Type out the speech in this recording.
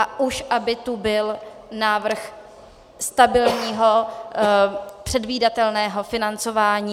A už aby tu byl návrh stabilního, předvídatelného financování.